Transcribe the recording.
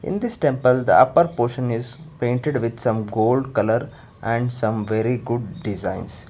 in this temple the upper portion is painted with some gold colour and some very good designs.